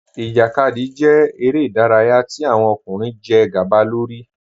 Ijákadì jẹ̀ èrè idàráyà tí awọn ọkùnrin jẹ́ gba lórí.